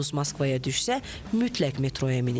Yolunuz Moskvaya düşsə, mütləq metroya minin.